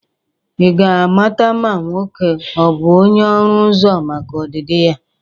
Ị ga-amata ma nwoke a ọ bụ onye ọrụ ụzọ maka ọdịdị ya?